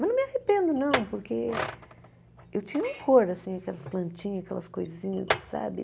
Mas não me arrependo, não, porque eu tinha um horror, assim, aquelas plantinhas, aquelas coisinhas, assim sabe?